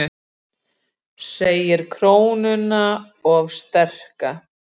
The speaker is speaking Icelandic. Íslenska hefur breyst minnst frá tíma fornnorrænu.